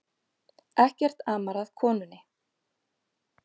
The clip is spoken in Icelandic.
Ekkert amar að konunni